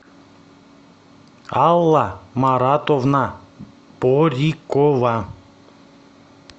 алла маратовна порикова